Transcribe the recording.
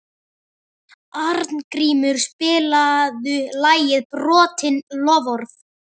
Arngrímur, spilaðu lagið „Brotin loforð“.